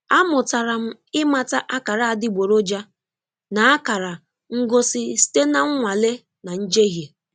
Amụtara m ịmata akara adịgboroja na akara ngosi site na nnwale na njehie.